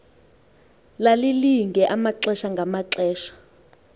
lalilinge amaxesha ngamaxesha